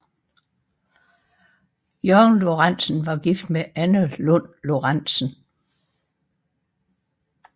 Jørgen Lorenzen var gift med Anna Lund Lorenzen